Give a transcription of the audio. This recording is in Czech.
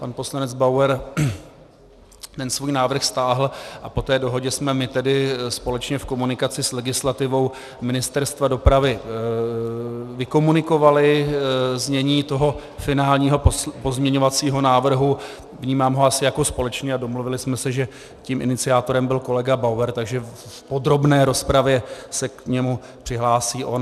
Pan poslanec Bauer ten svůj návrh stáhl a po té dohodě jsme my tedy společně v komunikaci s legislativou Ministerstva dopravy vykomunikovali znění toho finálního pozměňovacího návrhu, vnímám ho asi jako společný, a domluvili jsme se, že tím iniciátorem byl kolega Bauer, takže v podrobné rozpravě se k němu přihlásí on.